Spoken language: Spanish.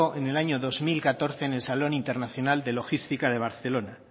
en el año dos mil catorce en el salón internacional de logística de barcelona